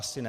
Asi ne.